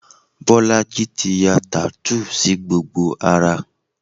Bolaji ti ya tattoo sí gbogbo ara